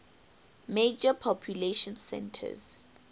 major population centers